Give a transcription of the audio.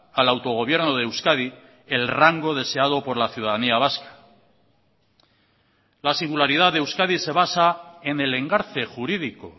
al autogobierno de euskadi el rango deseado por la ciudadanía vasca la singularidad de euskadi se basa en el engarce jurídico